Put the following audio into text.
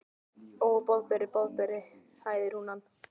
Ó, Boðberi, Boðberi hæðir hún hann.